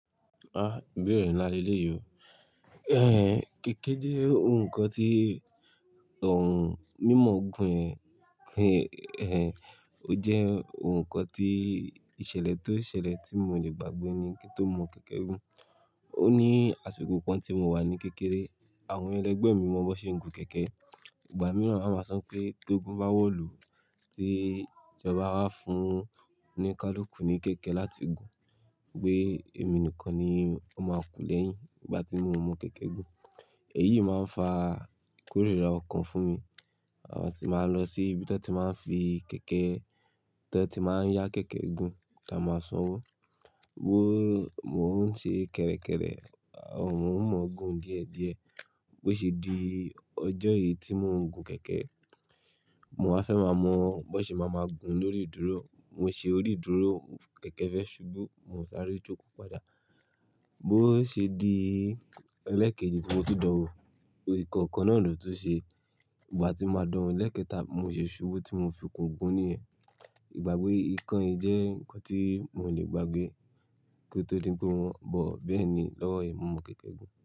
Ah! Ìbéèrè ńlá le léyìí o. Kèké jẹ́ ohun kan tí ọ̀hùn mímọ̀ gùn yen o jẹ́ ohun kan tí ìṣẹ̀lẹ̀ tó ṣẹlẹ̀ tí mo le gbàgbé ni kí n tó mọ kẹ̀kẹ́ gùn. Ó ní àsìkò kan tí mo wà ní kékeré, àwọn ẹlẹgbẹ́ mi mọ bí won se ń gun kẹ̀kẹ́. Ìgbà mìíràn won máa san pé tógun bá wọ̀lù tí won ba fun onikalukù ní kẹ̀kẹ́ láti gun, wípé èmi nìkan ni ó máa ku lẹ́yìn ìgbà tí mi o mọ kẹ̀kẹ́ gùn. Èyí máa ń fa ìkórìíra ọkàn fún mi. A ti máa ń lọ sí ibi tí wọ́n ti máa ń fi kẹ̀kẹ́, tí wọ́n ti máa ń yá kẹ̀kẹ́ gun tí a máa sanwó. Bí mo ń ṣe kẹ̀rẹ̀kẹ̀rẹ̀, mo n mọ̀ gùn díẹ̀díẹ̀. Bí ó ṣe di ọjọ́ yìí tí mò ń gun kẹ̀kẹ́, mo wa fẹ́ máa mọ bí ṣe màá máa gùn lórí ìdúró. Mo ṣe orí ìdúró, kẹ̀kẹ́ fẹ́ ṣubú, mo sáré jókòó padà. Bí ó ṣe di lẹ́ẹ̀kejì tí mo ti dan wó, orí ìkọ̀ọ̀kan náà lò tun ṣe. Ìgbà tí mo máa dán lẹ́ẹ̀kẹta, mo ṣe ṣubú tí mo fi kùn gùn níyen. Ìgbàgbe ikán yìí jẹ́ nǹkan tí mò lè gbàgbé kí ó tó di pé wọ́n, but Bẹ́ẹ̀ ni lọ́wọ́ yii, mo mọ kẹ̀kẹ́ gùn.